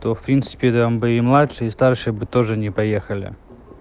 в принципе там бы и младшие и старшие бы тоже не поехали